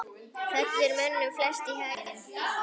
fellur mönnum flest í haginn